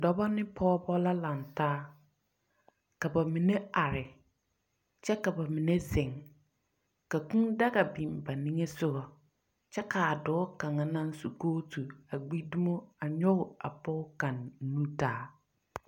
Dɔbɔ ne pɔgebɔ la lantaa. Ka bamine are kyɛ ka ba mine zeŋ, ka kūū daga biŋ ba niŋesogɔ, kyɛ ka a dɔɔ kaŋa naŋ su kootu, a gbi dumo a nyɔge a pɔge kaŋ nu taa.